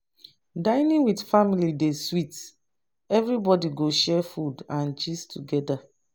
Dining with family dey sweet, everybody go share food and gist together.